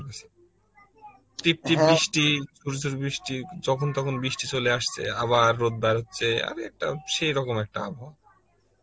টিপ টিপ ঝুর ঝুর বৃষ্টি যখন তখন বৃষ্টি চলে আসছে আবার রোধ বের হচ্ছে আরেটা সেই রকম একটা আবহাওয়া